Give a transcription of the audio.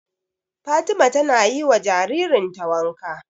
Fatima ta na yi wa jaririn ta wanka